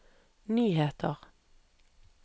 nyheter